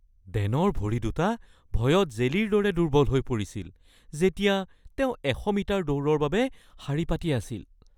ডেনৰ ভৰি দুটা ভয়ত জেলিৰ দৰে দুৰ্বল হৈ পৰিছিল যেতিয়া তেওঁ ১০০ মিটাৰ দৌৰৰ বাবে শাৰী পাতি আছিল